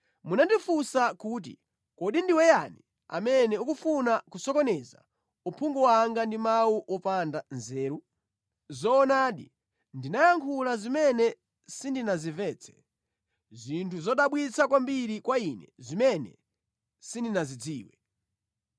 Munandifunsa kuti, ‘Kodi ndiwe yani amene ukufuna kusokoneza uphungu wanga ndi mawu opanda nzeru? Zoonadi ndinayankhula zimene sindinazimvetse, zinthu zodabwitsa kwambiri kwa ine zimene sindinazidziwe.